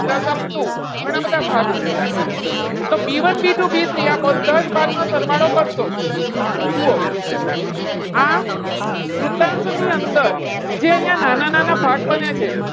plus up two ઘણા બધા ભાગ છે. તો B one B two B three આ બધા જ ભાગનો સરવાળો કરશો. જુઓ આ વૃતાંશ ની અંદર જે અહીંયા નાના નાના ભાગ બને છે.